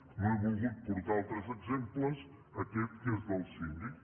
no he volgut portar altres exemples aquest que és del síndic